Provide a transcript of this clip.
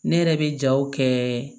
Ne yɛrɛ bɛ jaw kɛ